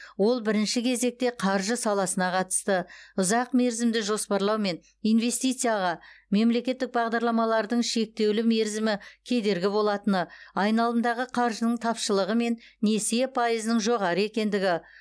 ол бірінші кезекте қаржы саласына қатысты ұзақ мерзімді жоспарлау мен инвстицияға мемлекеттік бағдарламалардың шектеулі мерзімі кедергі болатыны айналымдағы қаржының тапшылығы мен несие пайызының жоғары екендігі